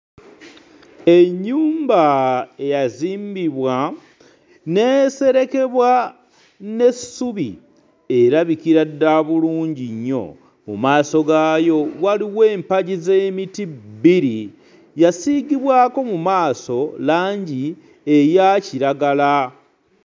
Ennyumba eyazimbibwa n'eserekebwa n'essubi erabikira ddala bulungi nnyo, mu maaso gaayo waliwo empagi z'emiti bbiri, yasiigibwako mu maaso langi eya kiragala.